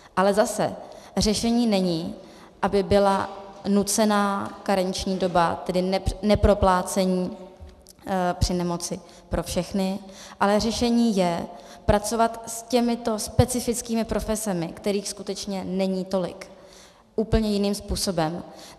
Ale zase řešením není, aby byla nucená karenční doba, tedy neproplácení při nemoci pro všechny, ale řešením je pracovat s těmito specifickými profesemi, kterých skutečně není tolik, úplně jiným způsobem.